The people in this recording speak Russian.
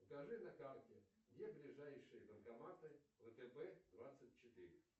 покажи на карте где ближайшие банкоматы втб двадцать четыре